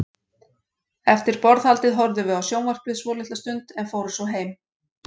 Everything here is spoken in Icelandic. Eftir borðhaldið horfðum við á sjónvarpið svolitla stund, en fórum svo heim.